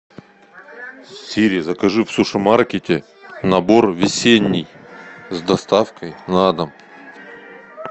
сири закажи в суши маркете набор весенний с доставкой на дом